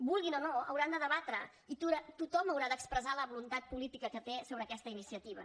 vulguin o no hauran de debatre i tothom haurà d’expressar la voluntat política que té sobre aquesta iniciativa